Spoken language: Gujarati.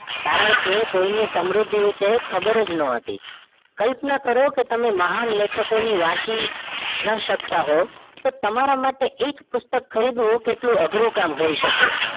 કારણકે કોઈ ને સમૃદ્ધિ વિષે ખબર જ ન હતી કલ્પના કરો કે તમે મહાન લેખક વાંચી ન શકતા હોવ તો તમારા માટે એક પુસ્તક ખરીદવું કેટલું અઘરું કામ હોય શકે